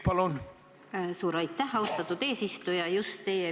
Suur aitäh, austatud eesistuja!